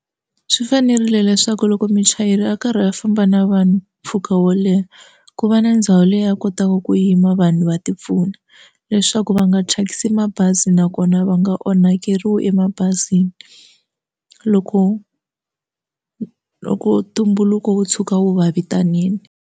Swi fanerile leswaku loko muchayeri a karhi a famba na vanhu mpfhuka wo leha ku va na ndhawu leyi a kotaka ku yima vanhu va ti pfuna leswaku va nga thyakisi mabazi nakona va nga onhakeriwi emabazini loko loko tumbuluko wo tshuka wu va vitanile.